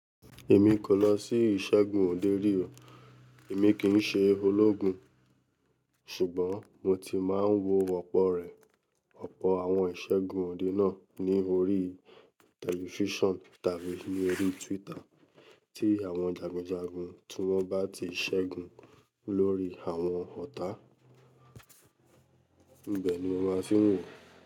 Èmi kò lọ sí ìṣẹ́gun òde rí o. Èmi kì n ṣe ológun, ṣùgbọ́n mo ti máa ń wo ọ̀pọ̀ rẹ̀, ọ̀pọ̀ àwọn ìṣẹ́gun òde náà ní orí tẹlifísàn tàbí orí Twitter tí àwọn jagunjagun tí wọ́n bá ti ṣẹ́gun lórí àwọn ọ̀tá. Ibẹ̀ni mo máa ti ń wò.